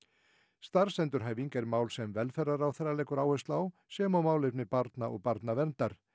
starfsendurhæfing er mál sem velferðarráðherra leggur áherslu á sem og málefni barna og barnaverndar